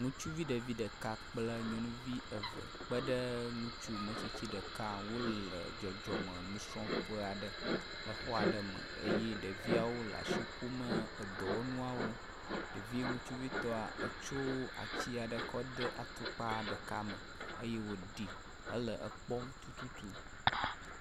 Ŋutsuvi ɖevi ɖeka kple nyɔnuvi eve kpeɖe ŋutsu ametsitsi ɖeka aɖe ŋu wole dzɔdzɔme nusrɔ̃ƒe aɖe le xɔ aɖe me eye ɖeviawo le asi ƒom edɔwɔnuawo. Ɖevi ŋutsuvitɔ etso atsi aɖe kɔ de atukpa ɖeka me eye wòɖi hekpɔm tututu.